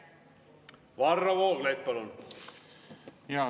Varro Vooglaid, palun!